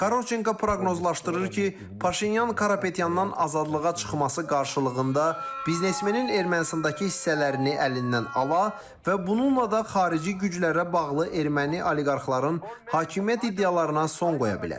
Karoçenko proqnozlaşdırır ki, Paşinyan Karapetyandan azadlığa çıxması qarşılığında biznesmenin Ermənistandakı hissələrini əlindən ala və bununla da xarici güclərə bağlı erməni oliqarxların hakimiyyət iddialarına son qoya bilər.